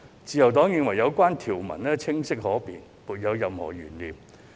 自由黨認為有關條文清晰可辨，沒有任何懸念。